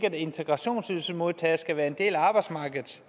at integrationsydelsesmodtagere skal være en del af arbejdsmarkedet